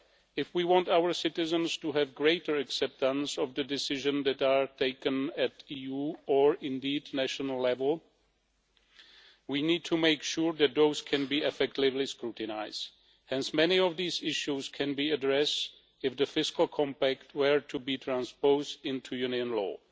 If we want our citizens to have greater acceptance of the decisions that are taken at EU or indeed national level, we need to make sure that those can be effectively scrutinised, as many of these issues can be addressed if the Fiscal Compact were to be transposed into Union law.